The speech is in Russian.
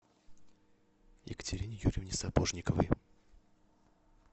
екатерине юрьевне сапожниковой